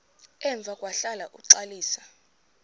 emva kwahlala uxalisa